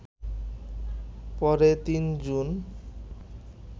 পরে ৩ জুন